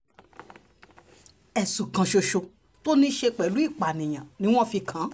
ẹ̀sùn kan ṣoṣo tó ní í ṣe pẹ̀lú ìpànìyàn ni wọ́n fi kàn án